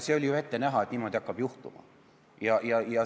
See oli ju ette näha, et niimoodi hakkab juhtuma.